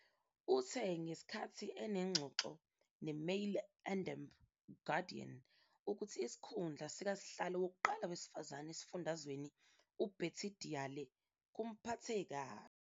Uthe ngesikhathi enengxoxo "neMail and Guardian," ukuthi isikhundla sikasihlalo wokuqala wesifazane esifundazweni, uBetty Diale, "kumphathe kabi".